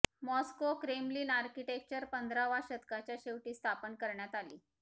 Moscow Kremlin architecture पंधरावा शतकाच्या शेवटी स्थापना करण्यात आली